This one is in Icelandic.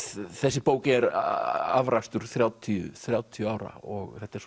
þessi bók er afrakstur þrjátíu þrjátíu ára og þetta er